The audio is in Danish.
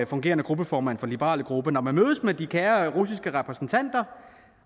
fungerende gruppeformand for den liberale gruppe og når man mødes med de kære russiske repræsentanter